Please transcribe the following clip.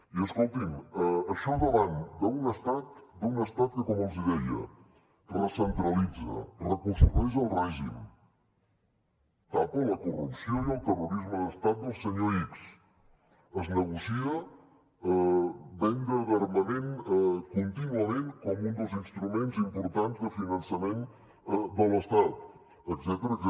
i escolti’m això davant d’un estat que com els deia recentralitza reconstrueix el règim tapa la corrupció i el terrorisme d’estat del senyor x es negocia venda d’armament contínuament com un dels instruments importants de finançament de l’estat etcètera